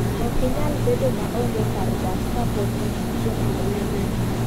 okinyal bedo ma ong'e kar dak ka pod in gi joma oheri